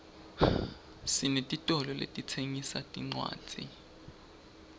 sinetitolo letitsengisa tincwadzi